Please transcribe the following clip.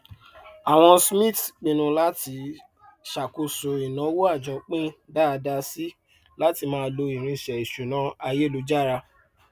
ọjà àwọn irúgbìn náà ní ìdojúkọ ìlọsókèlọsódò púpọ nítorí ìkùnà irúgbìn tó bá ojú ọjọ rìn káàkiri àgbáyé